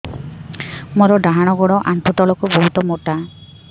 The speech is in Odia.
ମୋର ଡାହାଣ ଗୋଡ ଆଣ୍ଠୁ ତଳୁକୁ ବହୁତ ମୋଟା